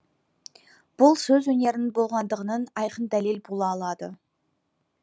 бұл сөз өнерінің болғандығының айқын дәлел бола алады